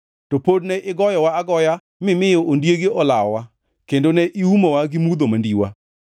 To pod ne igoyowa agoya mimiyo ondiegi olawowa; kendo ne iumowa gi mudho mandiwa.